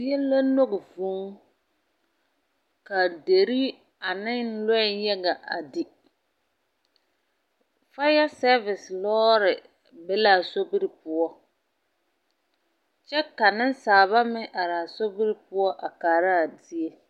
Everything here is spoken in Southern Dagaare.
Zie la lɔŋ vūū, ka deri ane lɔɛ yaga a di. Faaya sɛɛvese lɔɔre be la a sori poɔ, kyɛ ka nensaaba meŋ araa sobiri poɔ a kaara a zie.